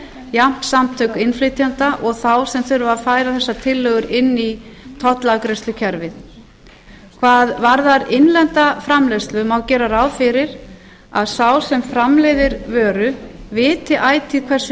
jafnt samtök innflytjenda og þá sem þurfa að færa þessar tillögur inn í tollafgreiðslukerfið hvað varðar innlenda framleiðslu má gera ráð fyrir að sá sem framleiðir vöru viti ætíð hversu